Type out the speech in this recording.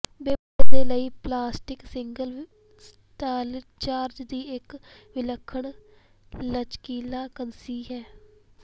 ਬੇ ਵਿਹੜੇ ਦੇ ਲਈ ਪਲਾਸਟਿਕ ਸੀਲਿੰਗ ਸਟ੍ਰਾਈਚਰਜ਼ ਦੀ ਇੱਕ ਵਿਲੱਖਣ ਲਚਕੀਲਾ ਕੰਨਿਸੀ ਹੈ